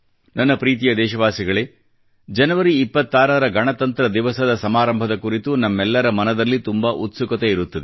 ನನ್ನ ಪ್ರೀತಿಯ ದೇಶವಾಸಿಗಳೇ ಜನವರಿ 26 ರ ಗಣತಂತ್ರ ದಿವಸದ ಸಮಾರಂಭದ ಕುರಿತು ನಮ್ಮೆಲ್ಲರ ಮನದಲ್ಲಿ ತುಂಬಾ ಉತ್ಸುಕತೆ ಇರುತ್ತದೆ